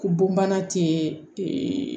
Ko bonbana tɛ